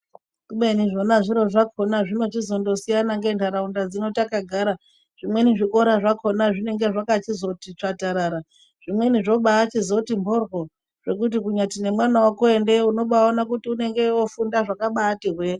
Kubeni zvona zviro zvakhona zvinochizondosiyana ngentharaunda dzino takagara. Zvimweni zvikora zvakhona zvinenge zvakachizoti tsvatarara, zvimweni zvochibaachizoti mhoryo zvekuti kunyati nemwana wako endeyo umobaaone kuti unonge oobaafunda zvakabaati hwee.